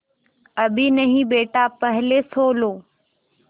अभी नहीं बेटा पहले सो लो